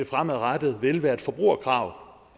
fremadrettet vil være et forbrugerkrav